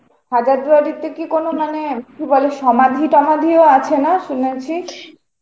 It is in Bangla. হাজারদুয়ারিতে কি কোন মানে কি বলে সমাধি টমাধি ও আছে না শুনেছি?